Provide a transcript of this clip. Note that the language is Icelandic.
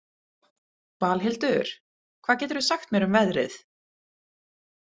Valhildur, hvað geturðu sagt mér um veðrið?